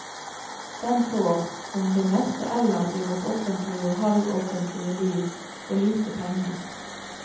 Den får, som det meste ellers i vårt offentlige og halvoffentlige liv, for lite penger.